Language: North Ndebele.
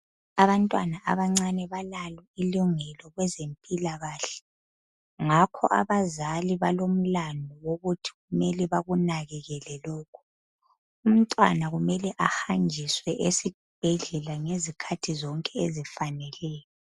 Abantwana abancane balalo ilungelo kwezempilakahle, ngakho abazali balomlandu wokuthi kumele bakunakekele lokhu. Umntwana ukumele ahanjiswe esibhedlela ngezikhathi zonke ezifaneleyo.